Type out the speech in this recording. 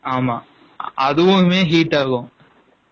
ஆமா அதுவுமே heat ஆகும்